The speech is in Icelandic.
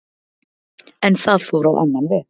En það fór á annan veg